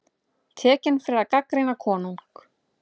Tekinn fyrir að gagnrýna konung